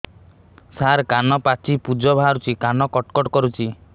ସାର କାନ ପାଚି ପୂଜ ବାହାରୁଛି କାନ କଟ କଟ କରୁଛି